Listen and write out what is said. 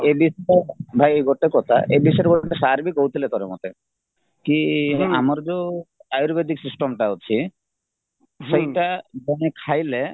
ଭାଇ ଗୋଟେ କଥା ଏ ବିଷୟରେ ସାରବି କହୁଥିଲେ ମତେ କି ଆମର ଯୋଉ ଆୟୁର୍ବେଦିକ system ଅଛି ସେଇଟା ମାନେ ଖାଇଲେ